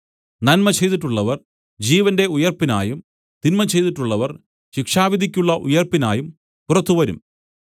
നന്മ ചെയ്തിട്ടുള്ളവർ ജീവന്റെ ഉയിർപ്പിനായും തിന്മ ചെയ്തിട്ടുള്ളവർ ശിക്ഷാവിധിയ്ക്കുള്ള ഉയിർപ്പിനായും പുറത്തുവരും